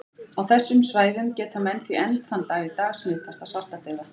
Á þessum svæðum geta menn því enn þann dag í dag smitast af svartadauða.